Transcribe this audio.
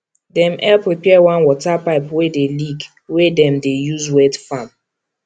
dem help repair one water pipe wey dey leak wey dem dey use wet farm